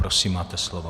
Prosím, máte slovo.